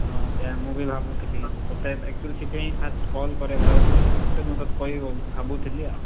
ହଁ ସେଇଆ ମୁଁ ବି ଭାବୁଥିଲି ତତେ actually ସେଇଥିପାଇଁ first call କରିଆକୁ ଯାଉଥିଲି, ତାପରେ ମୁଁ ତତେ କହିବି ଭାବୁଥିଲି ଆଉ,